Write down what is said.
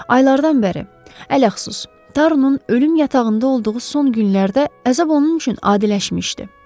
Aylardan bəri, ələxsus, Tarunun ölüm yatağında olduğu son günlərdə əzab onun üçün adiləşmişdi.